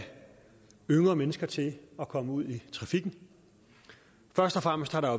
yngre mennesker til at komme ud i trafikken først og fremmest har der